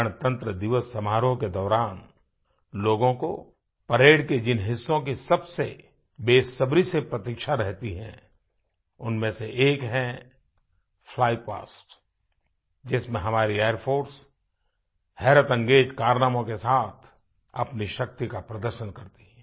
गणतंत्र दिवस समारोह के दौरान लोगों को परेड के जिन हिस्सों की सबसे बेसब्री से प्रतीक्षा रहती है उनमें से एक है फ्लाई पास्ट जिसमें हमारी एयर फोर्स हैरतअंगेज कारनामों के साथ अपनी शक्ति का प्रदर्शन करती है